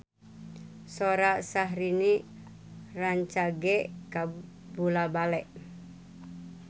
Sora Syahrini rancage kabula-bale